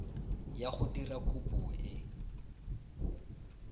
ya go dira kopo e